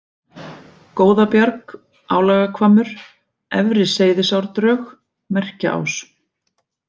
Góðabjarg, Álagahvammur, Efri-Seyðisárdrög, Merkjaás